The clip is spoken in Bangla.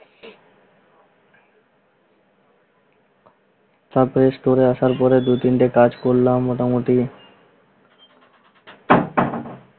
তারপর store আসার পরে দুই তিনটা কাজ করলাম মোটামুটি